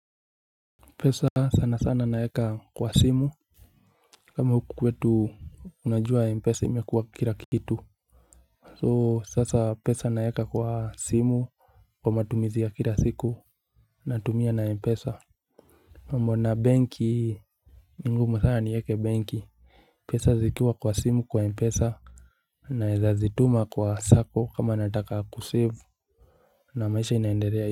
Pesa sana sana naweka kwa simu. Kama huku kwetu unajua mpesa imekuwa kila kitu So sasa pesa naweka kwa simu. Kwa matumizi ya kila siku natumia na mpesa. Mambo na benki ni ngumu sana niweke benki. Pesa zikiwa kwa simu kwa mpesa naweza zituma kwa sacco kama nataka kusave. Na maisha inaendelea.